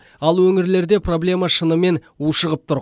ал өңірлерде проблема шынымен ушығып тұр